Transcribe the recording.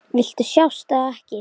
Viltu sjást eða ekki?